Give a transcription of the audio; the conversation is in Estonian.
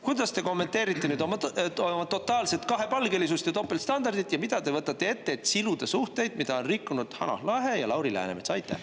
Kuidas te kommenteerite oma totaalset kahepalgelisust ja topeltstandardit ja mida te võtate ette, et siluda suhteid, mida on rikkunud Hanah Lahe ja Lauri Läänemets?